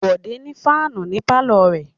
Bòdé ní fáánù ní pálọ̀ rẹ̀.